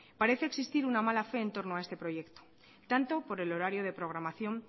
parece existir una mala fe en torno a este proyecto tanto por el horario de programación